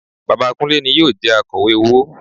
Bàbá Kúnlé ni yóò jẹ Akọ̀wé owó